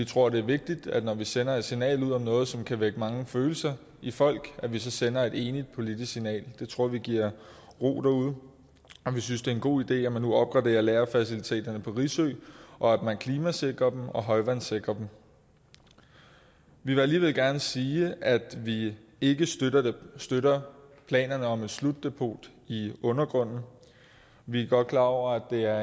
tror det er vigtigt at vi når vi sender et signal ud om noget som kan vække mange følelser i folk så sender et enigt politisk signal det tror vi giver ro derude vi synes det er en god idé at man nu opgraderer lagerfaciliteterne på risø og at man klimasikrer dem og højvandssikrer dem vi vil alligevel gerne sige at vi ikke støtter planerne om et slutdepot i undergrunden vi er godt klar over at det er